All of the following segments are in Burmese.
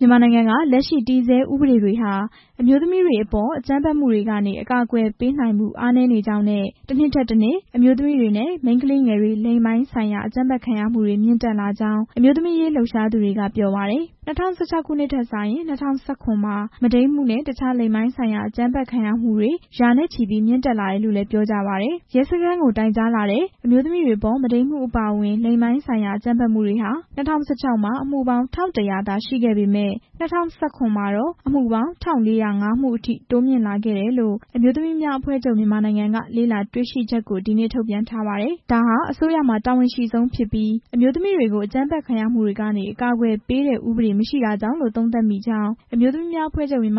မြန်မာနိုင်ငံက လက်ရှိတည်ဆဲဥပဒေတွေဟာ အမျိုးသမီးတွေအပေါ် အကြမ်းဖက်မှုတွေကနေ အကာအကွယ် ပေးနိုင်မှု အားနည်းကြောင်း နဲ့ တစ်နှစ်ထက်တစ်နှစ် အမျိုးသမီးတွေနဲ့ မိန်းကလေးငယ်တွေ လိင်ပိုင်းဆိုင်ရာ အကြမ်းဖက်ခံရမှုတွေ မြင့်တက်လာကြောင်း အမျိုးသမီးအရေး လှုပ်ရှားသူတွေက ပြောပါတယ်။ ၂၀၁၆ ခုနှစ်ထက်စာရင် ၂၀၁၇ မှာ မုဒိန်းမှုနဲ့ အခြားလိင်ပိုင်းဆိုင်ရာ အကြမ်းဖက်ခံရတဲ့အမှုတွေ ရာနဲ့ချီ မြင့်တက်လာကြောင်းလည်း ပြောကြပါတယ်။ ရဲစခန်းကို တိုင်ကြားလာတဲ့ အမျိုးသမီးတွေအပေါ် မုဒိမ်းမှုအပါအဝင် လိင်ပိုင်းဆိုင်ရာ အကြမ်းဖက်မှုတွေဟာ ၂၀၁၆ မှာ အမှုပေါင်း ၁၁၀၀ သာရှိခဲ့ပေမယ့် ၂၀၁၇ မှာတော့ ၁၄၀၅ မှုအထိ တိုးမြင့်လာခဲ့တယ်လို့ အမျိုးသမီးများအဖွဲ့ချုပ် က လေ့လာတွေ့ရှိချက်ကို ဒီနေ့ ထုတ်ပြန်ထားပါတယ်။ ဒါဟာ အစိုးရမှာ တာဝန်အရှိဆုံးဖြစ်ပြီး အမျိုးသမီးတွေကို အကြမ်းဖက်ခံရမှုတွေကနေ အကာအကွယ်ပေးတဲ့ ဥပဒေမရှိတာကြောင့်လို့ သုံးသပ်မိကြောင်း အမျိုးသမီးများအဖွဲ့ချုပ် ရဲ့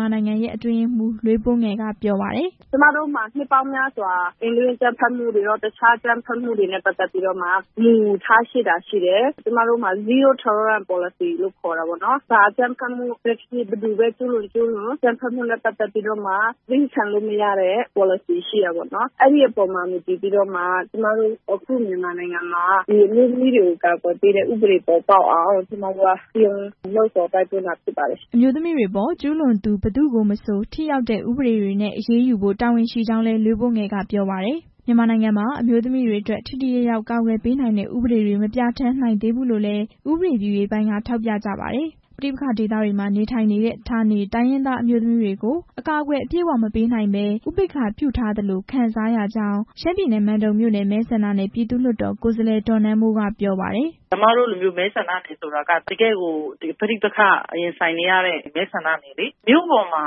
အတွင်းရေးမှူး လွေးပိုးငယ် က ပြောပါတယ်။ "ကျမတို့မှာ နှစ်ပေါင်းများစွာ အိမ်တွင်းအကြမ်းဖက်မှုရော၊ တခြားအကြမ်းဖက်မှုတွေနဲ့ ပတ်သက်ပြီးတော့မှ မူထားရှိတာရှိတယ်၊ ကျမတို့မှာ zero tolerance ပေါ်လစီ လို့ ခေါ်တာပေါ့နော်၊ ဘာအကြမ်းဖက်မှုပဲဖြစ်ဖြစ်၊ ဘယ်သူပဲကျူးလွန် ကျူးလွန်၊ သည်းခံလို့မရတဲ့ ပေါ်လစီ ရှိတယ်ပေါ့နော်၊ အဲဒီအပေါ်မှာ မူတည်ပြီးတော့မှ ကျမတို့ အခု မြန်မာနိုင်ငံမှာ အမျိုးသမီးတွေကို ကာကွယ်ပေးတဲ့ဥပဒေ ပေါ်ပေါက်အောင် ကျမတို့က စည်းရုံးလှုံ့ဆော်တိုက်တွန်းတာ ဖြစ်ပါတယ်" အမျိုးသမီးတွေအပေါ် ကျူးလွန်သူ ဘယ်သူကိုမဆို ထိရောက်တဲ့ဥပဒေတွေနဲ့ အရေးယူဖို့ တာဝန်ရှိကြောင်းလည်း လွေးပိုးငယ် က ပြောပါတယ်။ မြန်မာနိုင်ငံမှာ အမျိုးသမီးတွေအတွက် ထိထိရောက်ရောက် ကာကွယ်ပေးနိုင်တဲ့ ဥပဒေတွေ မပြဌာန်းနိုင်သေးဘူး လို့လည်း ဥပဒေပြုရေးပိုင်းက ထောက်ပြကြပါတယ်။ ပဋိပက္ခဒေသတွေမှာ နေထိုင်နေတဲ့ ဌာနေတိုင်းရင်းသား အမျိုးသမီးတွေကို အကာအကွယ်အပြည့်အ၀ မပေးနိုင်ဘဲ ဥပေက္ခာပြုထားသလို ခံစားရကြောင်း ရှမ်းပြည်နယ် မန်တုံမြို့နယ် မဲဆန္ဒနယ် ပြည်သူ့လွှတ်တော် ကိုယ်စားလှယ် ဒေါ်နန်းမိုး က ပြောပါတယ်။ "ကျမတို့က တကယ့်ကို ပဋိပက္ခ ရင်ဆိုင်နေရတဲ့ မဲဆန္ဒနယ်လေ၊ မြို့ပေါ်မှာ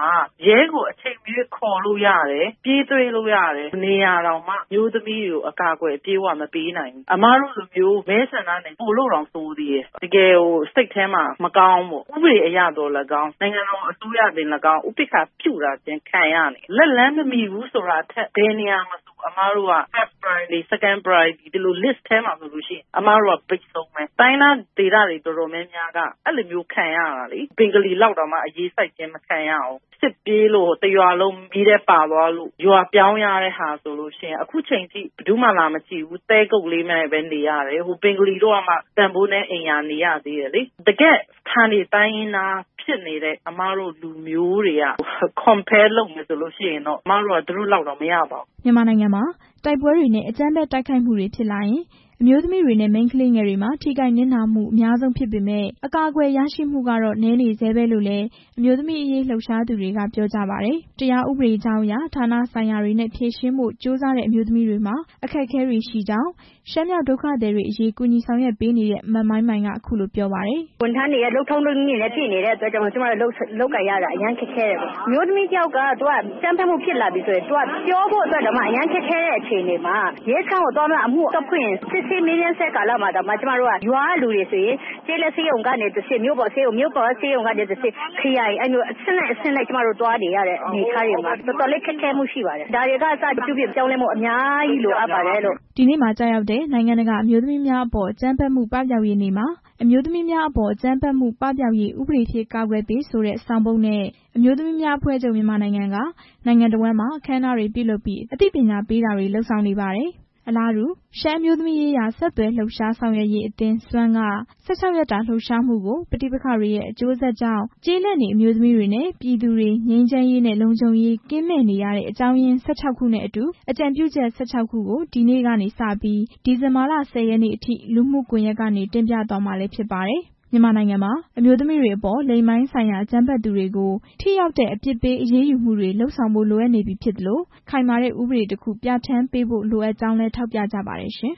ရဲကို အချိန်မရွေးခေါ်လို့ရတယ်၊ ပြေးတွေ့လို့ရတဲ့နေရာတောင်မှ အမျိုးသမီးတွေကို အကာအကွယ် အပြည့်အ၀ မပေးနိုင်ဘူး၊ အမတို့လို မဲဆန္ဒနယ် ပိုလို့တောင် ဆိုးသေးတယ်၊ တကယ်ကိုစိတ်ထဲမှာ မကောင်းဘူးပေါ့၊ ဥပဒေအရသော်လည်းကောင်း၊ နိုင်ငံတော် အစိုးရကနေသော်လည်းကောင်း ဥပေက္ခာပြုထားခြင်း ခံရနေတယ်၊ လက်လှမ်းမမီဘူးဆိုတာထက် အမတို့က ပထမ ဦးစားပေး၊ ဒုတိယ ဦးစားပေး ဒီလိုစာရင်းထဲမှာဆို အမတို့က ဘိတ်ဆုံးပဲ၊ တိုင်းရင်းသား ဒေသတွေ တော်တော်များများက အဲလိုမျိုးခံရတာလေ၊ ဘင်္ဂလီလောက်တောင်မှ အရေးစိုက်မခံရဘူး၊ စစ်ဖြစ်လို့ တစ်ရွာလုံး မီးထဲပါသွားလို့ ရွာပြောင်းရတဲ့ဟာဆိုရင် ခုချိန်ထိ ဘယ်သူမှ လာမကြည့်ဘူး၊ တဲကုတ်လေးနဲ့ပဲ နေရတယ်၊ ဘင်္ဂလီတို့ကမှ တန်ဖိုးနည်းအိမ်ရာ နေရသေးတယ်လေ၊ တကယ့် ဌာနေတိုင်းရင်းသားဖြစ်နေတဲ့ အမတို့လူမျိုးတွေက နှိုင်းယှဉ်မယ်ဆိုရင် အမတို့က သူတို့လောက်တောင် မရပါဘူး" မြန်မာနိုင်ငံမှာဖြစ်ပွားတဲ့ တိုက်ပွဲတွေ အကြမ်းဖက် တိုက်ခိုက်မှုတွေဖြစ်လာရင် အမျိုးသမီးတွေနဲ့ မိန်းကလေးငယ်တွေမှာ ထိခိုက်နစ်နာမှု အများဆုံးဖြစ်ပေမယ့် အကာအကွယ်ရရှိမှုကတော့ နည်းနေဆဲပဲလို့လည်း အမျိုးသမီးအရေးလှုပ်ရှားသူတွေက ပြောကြပါတယ်။ တရားဥပဒေကြောင်းအရ ဌာနဆိုင်ရာတွေနဲ့ ဖြေရှင်းဖို့ ကြိုးစားတဲ့ အမျိုးသမီးတွေမှာ အခက်အခဲတွေရှိကြောင်း ရှမ်းမြောက်ဒုက္ခသည်တွေအရေး ဆောင်ရွက်ပေးနေတဲ့ မမိုင်းမိုင် က ပြောပါတယ်။ "ဝန်ထမ်းတွေရဲ့ လုပ်ထုံးလုပ်နည်းတွေနဲ့ ပြည့်နေတဲ့အတွက် ကျမတို့ လုပ်ကိုင်ရတာ အရမ်းခက်ခဲတယ်ပေါ့၊ အမျိုးသမီးတစ်ယောက်က အကြမ်းဖက်ခံရပြီဆိုရင် ပြောဖို့အတွက်တောင်မှ အရမ်းခက်ခဲတဲ့ အခြေအနေမှာ ရဲစခန်းကိုသွားပြီးမှ အမှုဖွင့်ရင် စစ်ဆေးမေးမြန်းဆဲကာလမှာတောင်မှ ရွာကလူတွေဆိုရင် ကျေးလက်ဆေးရုံ ကနေတစ်ဆင့် မြို့ပေါ်ဆေးရုံ အဲကတစ်ဆင့် ခရိုင် အဲလိုအဆင့်ဆင့် သွားနေရတဲ့ အနေအထားတွေမှာ တော်တော်လေးခက်ခဲမှု ရှိပါတယ်၊ ဒါတွေကအစ ပြောင်းလဲဖို့ လိုပါတယ်လို့" ဒီနေ့မှာ ကျရောက်တဲ့ နိုင်ငံတကာအမျိုးသမီးများအပေါ် အကြမ်းဖက်မှု ပပျောက်ရေးနေ့မှာ "အမျိုးသမီးများအပေါ် အကြမ်းဖက်မှု ပပျောက်ရေး ဥပဒေဖြင့်ကာကွယ်ပေး" ဆိုတဲ့ ဆောင်ပုဒ်နဲ့ အမျိုးသမီးများအဖွဲ့ချုပ် က နိုင်ငံတစ်ဝှမ်းမှာ အခမ်းအနားတွေပြုလုပ်ပြီး အသိပညာပေးတာတွေ လုပ်ဆောင်နေပါတယ်။ အလားတူ ရှမ်းအမျိုးသမီးရေးရာ ဆက်သွယ်လှုပ်ရှားဆောင်ရွက်ရေးအသင်း SWAN က ၁၆ ရက်တာ လှုပ်ရှားမှု ကို ပဋိပက္ခတွေရဲ့ အကျိုးဆက်ကြောင့် ကျေးလက်နေ အမျိုးသမီးတွေနဲ့ ပြည်သူတွေ ငြိမ်းချမ်းရေးနဲ့လုံခြုံရေး ကင်းမဲ့နေရတဲ့ အကြောင်းရင်း ခုနဲ့အတူ အကြံပြုချက် ခုကို ဒီနေ့ကနေ ဒီဇင်ဘာလ ၁၀ ရက်နေ့ထိ လူမှုကွန်ရက်ကနေ တင်ပြသွားမှာလည်း ဖြစ်ပါတယ်။ မြန်မာနိုင်ငံမှာ အမျိုးသမီးတွေကို လိင်ပိုင်းဆိုင်ရာ အကြမ်းဖက်သူတွေကို ထိရောက်တဲ့ အပြစ်ပေး အရေးယူမှုတွေ လုပ်ဆောင်ဖို့ လိုအပ်နေပြီဖြစ်သလို ခိုင်မာတဲ့ဥပဒေတစ်ခု ပြဌာန်းပေးဖို့ လိုအပ်ကြောင်းလည်း ထောက်ပြကြပါတယ်ရှင်။